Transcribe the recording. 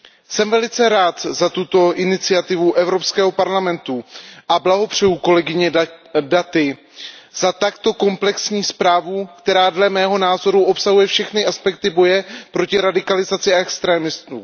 Jsem velice rád za tuto iniciativu Evropského parlamentu a blahopřeji kolegyni Datiové za takto komplexní zprávu, která podle mého názoru obsahuje všechny aspekty boje proti radikalizaci a extrémistům.